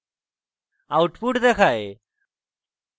output দেখায়